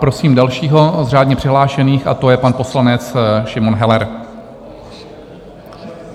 Prosím dalšího z řádně přihlášených a to je pan poslanec Šimon Heller.